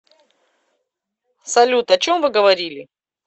салют о чем вы говорили